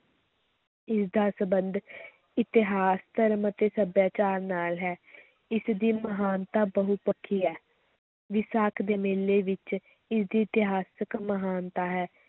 ਇਸ ਦਾ ਸਬੰਧ ਇਤਿਹਾਸ, ਧਰਮ ਅਤੇ ਸੱਭਿਆਚਾਰ ਨਾਲ ਹੈ ਇਸ ਦੀ ਮਹਾਨਤਾ ਬਹੁਪੱਖੀ ਹੈ, ਵਿਸਾਖ ਦੇ ਮੇਲੇ ਵਿੱਚ ਇਸਦੀ ਇਤਿਹਾਸਕ ਮਹਾਨਤਾ ਹੈ।